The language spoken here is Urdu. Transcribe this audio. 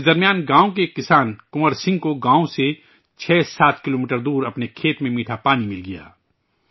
اس بیچ گاوں کے ایک کسان کنور سنگھ کو گاوں سے 6 سے 7 کلومیٹر دور اپنے کھیت میں میٹھا پانی مل گیا